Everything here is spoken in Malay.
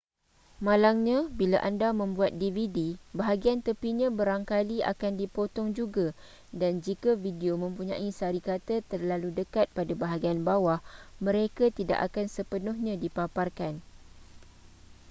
malangnya bila anda membuat dvd bahagian tepinya barangkali akan dipotong juga dan jika video mempunyai sari kata terlalu dekat pada bahagian bawah mereka tidak akan sepenuhnya dipaparkan